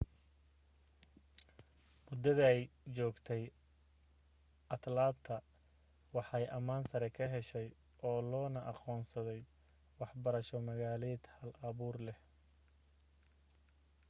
muddaday joogtay atlanta waxay ammaan sare ka heshay oo loona aqoonsaday waxbarasho magaaleed hal-abuur leh